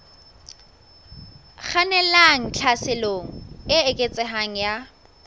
kgannelang tlhaselong e eketsehang ya